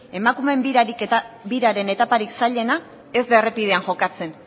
emakumeen biraren etaparik zailena ez da errepidean jokatzen